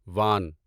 وان